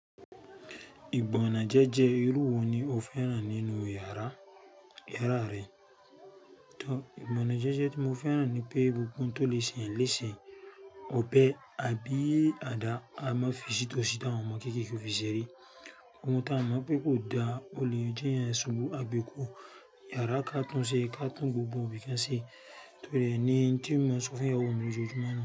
Ìgbọ̀nà jẹ́jẹ́ irú wo ni o fẹ́ ràn nínú yàrá, yàrá rẹ? Ìgbọ̀nà jẹ́jẹ́ tí mo fẹ́ ràn ni pé gbogbo ohun tó le se èèyàn léṣe, ọ̀bẹ, àbí, àdá, a má fi sí tósí, ta àwọn ọmọ kékèké ó fi ṣeré. Ohun tí a mọ̀ pé kò dá, ó le jẹ́ eeyan ṣubú, á gbé kúo. Yàrá ká tún ṣe, ká tún gbogbo ibí kán ṣe. Tóríre ni n tí ń máa ń sọ fún ìyàwó mi lójoojúmọ́ nu.